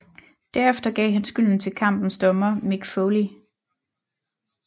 Derefter gav han skylden til kampens dommer Mick Foley